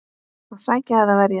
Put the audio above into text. Að sækja eða verja?